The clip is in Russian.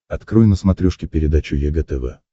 открой на смотрешке передачу егэ тв